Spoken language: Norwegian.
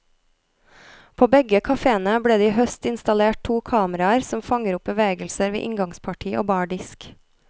På begge kaféene ble det i høst installert to kameraer som fanger opp bevegelser ved inngangsparti og bardisk.